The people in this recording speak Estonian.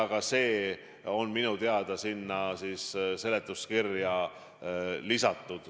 Ka see põhjendus on minu teada seletuskirja lisatud.